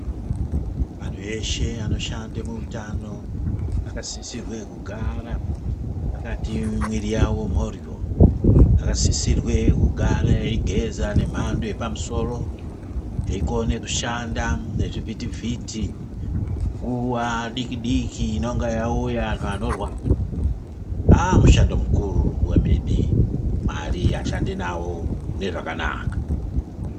Antu eshe anoshande kuutano akasisirwe kugara akati miviri yavo mhoryo, vakasisirwe kugare veyigeza nemhando yepamusoro ,veyikone kushanda nechivhiti-vhiti nguwa diki -diki inenge yauya nganorwaa aah mushando mukuru wemene. Mwari ashande nawo mune zvakanaka.